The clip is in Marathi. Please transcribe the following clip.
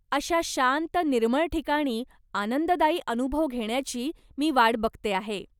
अशा शांत निर्मळ ठिकाणी आनंददायी अनुभव घेण्याची मी वाट बघते आहे.